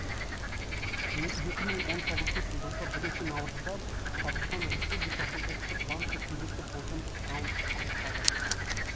екі мың он тоғызыншы жылғы бірінші наурызда қазақстан республикасының ұлттық банкі кезекті болжамдық раундты аяқтады